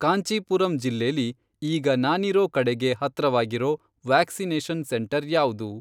ಕಾಂಚೀಪುರಂ ಜಿಲ್ಲೆಲಿ ಈಗ ನಾನಿರೋ ಕಡೆಗೆ ಹತ್ರವಾಗಿರೋ ವ್ಯಾಕ್ಸಿನೇಷನ್ ಸೆಂಟರ್ ಯಾವ್ದು?